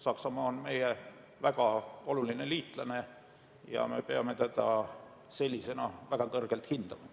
Saksamaa on meie väga oluline liitlane ja me peame teda sellisena väga kõrgelt hindama.